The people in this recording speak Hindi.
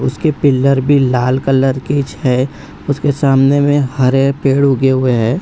उसके पिलर भी लाल कलर के छे उसके सामने में हरे पेड़ उगे हुए हैं।